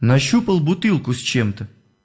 нащупал бутылку с чем-то